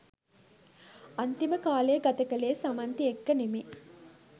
අන්තිම කාලේ ගතකලේ සමන්ති එක්ක නෙමේ